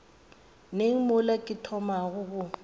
neng mola ke thomago go